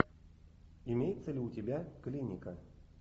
имеется ли у тебя клиника